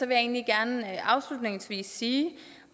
jeg egentlig gerne afslutningsvis sige